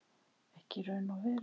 Ekki í raun og veru.